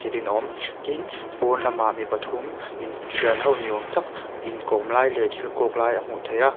a awm tin pawnlamah mi pathum in thian ho ni awm tak in kawm lai leh thil kawk lai a hmuh theih a.